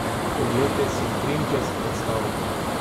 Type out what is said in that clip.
Oglejte si utrinke s predstave!